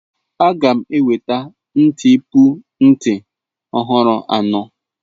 Aga m enweta ntipu nti ọhụrụ anọ.